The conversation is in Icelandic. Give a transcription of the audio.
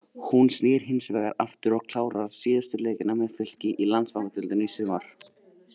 Hún snýr hinsvegar aftur og klárar síðustu leikina með Fylki í Landsbankadeildinni í sumar.